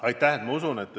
Aitäh!